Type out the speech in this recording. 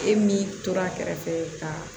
E min tora a kɛrɛfɛ ka